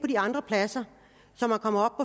de andre pladser så kommer